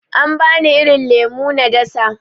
An bani irin lemo na dasa.